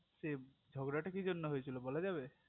সে ঝগড়াটা কি জন্য হয়েছিল বলা যাবে